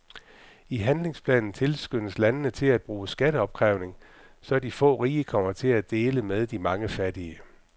I handlingsplanen tilskyndes landene til at bruge skatteopkrævning, så de få rige kommer til at dele med de mange fattige.